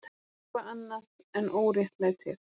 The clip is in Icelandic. Eitthvað annað en óréttlætið.